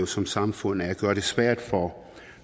som samfund er at gøre det svært for